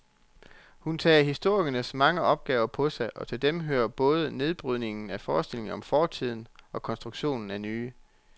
Hun tager historikerens mange opgaver på sig, og til dem hører både nedbrydningen af forestillinger om fortiden og konstruktionen af nye.